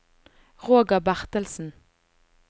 Roger Bertelsen